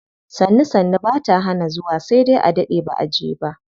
Sannu sannu bata hana zuwa sai dai a daɗe baʼa je ba.